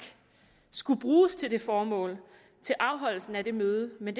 skulle bruges til det formål til afholdelsen af det møde men